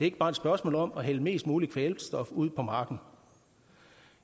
ikke bare et spørgsmål om at hælde mest mulig kvælstof ud på marken